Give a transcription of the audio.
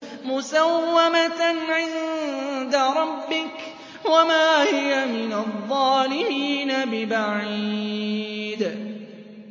مُّسَوَّمَةً عِندَ رَبِّكَ ۖ وَمَا هِيَ مِنَ الظَّالِمِينَ بِبَعِيدٍ